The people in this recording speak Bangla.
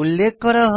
উল্লেখ করা হয়